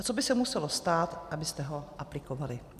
A co by se muselo stát, abyste ho aplikovali?